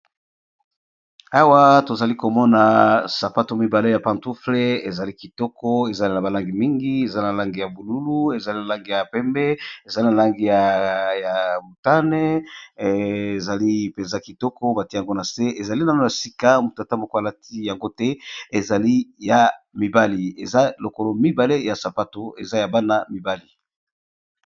Awa tozali komona sapato mibale ya pantouffle ,ezali kitoko ezali na balangi mingi ezali na langi ya bozinga ezali na langi ya pembe ,ezali na langi ya mutane ,ezali mpenza kitoko batie yango na se ezali nano ya sika mutata mokolati yango te ezali ya mibali eza lokolo mibale ya sapato eza ya bana mibali